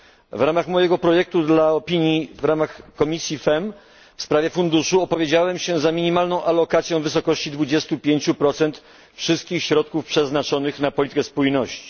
W ramach mojego projektu opinii w ramach komisji FEMM w sprawie Funduszu opowiedziałem się za minimalną alokacją w wysokości 25 wszystkich środków przeznaczonych na politykę spójności.